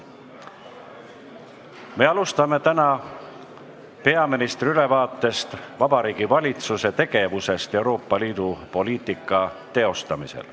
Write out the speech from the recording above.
Me alustame täna peaministri ülevaatega Vabariigi Valitsuse tegevusest Euroopa Liidu poliitika teostamisel.